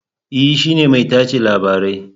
E, shi ne mai tace labarai